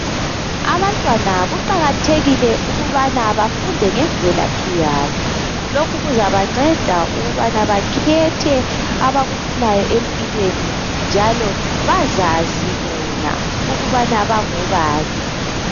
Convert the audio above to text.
Abantwana kuqakathekile ukubana bafunde ngemvelaphi yabo. Lokhu kuzabanceda ukubana bakhethe abakufunayo empilweni njalo bazazi bona ukubana bangobani.